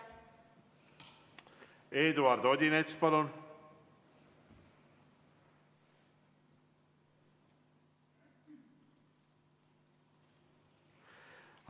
Eduard Odinets, palun!